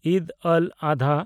ᱤᱫᱽ ᱟᱞ-ᱟᱫᱷᱟ